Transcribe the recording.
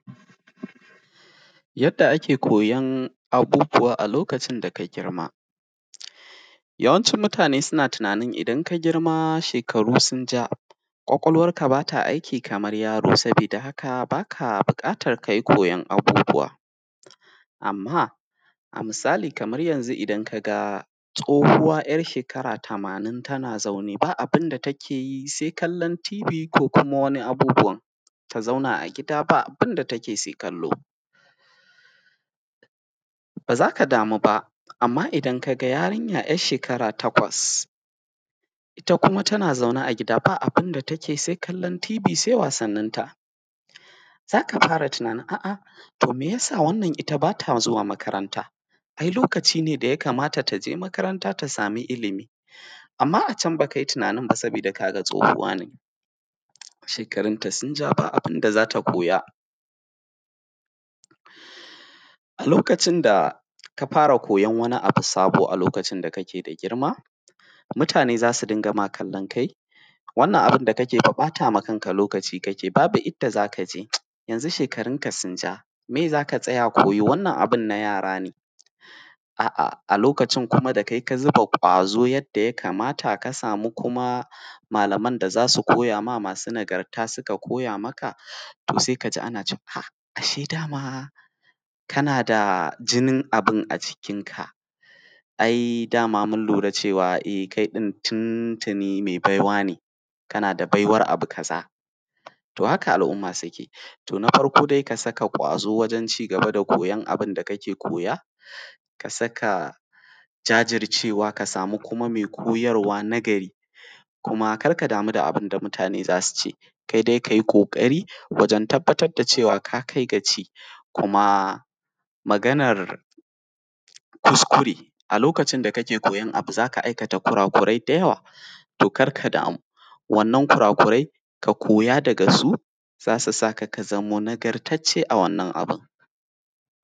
Yadda ake koyon abubuwa a lokacin da ka girma. Yawancin mutane suna tunanin idan ka girma shekarunka sun ja, ƙwaƙwalwarka ba ta aiki kamar yaro sabida da haka b aka buƙatar ka yi koyon abubuwa. Amma, a misali kamar yanzu idan ka ga tsohuwa `yar shekara tamanin tana zaune ba abun da take yi sai kallon tibi ko kuma wani abubuwan. Ta zauna a gida baa bun da take sai kallo. Ba za ka damu ba, amma idan ka ga yarinya `yar shekara takwas, ita kuma tana zaune a gida baa bun da take sai kallon tibi sai wasanninta. Za ka fara tunanin a’a, to me ya sa wannan ita ba ta zuwa makaranta? Ai lokaci ne da ya kamata ta je makaranta ta sami ilimi. Amma a can ba ka yi tunanin ba saboda ka ga tsohuwa ne, shekarunta sun ja ba abun da za ta koya. A lokacin da ka fara koyon wani abu sabo a lokacin da kake da girma, mutane za su ringa ma kallon kai wannan abun da kake fa ɓata ma kanka lokaci kake babu inda za ka je, shekarunka sun ja, meye za ka tsaya koyo? Wannan abun na yara ne. A’a, a lokacin da kai kuma ka zuba ƙwazo yadda ya kamata, ka samu kuma malaman da za su koya ma masu nagarta suka koya maka, to sai ka ji ana cewa, a’a! Ashe da ma kana da jinin abun a jikinka. Ai da ma mun lura cewa kai ɗin tuntuni mai baiwa ne, kana da baiwar abu kaza. To haka al’umma suke. To na farko dai ka saka ƙwazo wajen cigaba da koyon abun da kake koya, ka saka jajircewa, ka samu kuma mai koyarwa nagari, kuma kar ka damu da abun da mutane za su ce. Kai dai ka yo ƙoƙari wajen tabbatar da cewa ka kai gaci. Kuma, maganar kuskure, a lokacin da kake koyon abu za ka aikata kurakurai da yawa. To kar ka damu. Wannan kurakurai, ka koya daga su, za su sa ka ka zamo nagartacce a wannan abun.